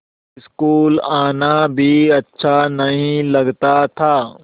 school आना भी अच्छा नहीं लगता था